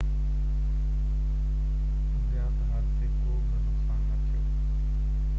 زيات حادثي ڪو به نقصان نه ٿيو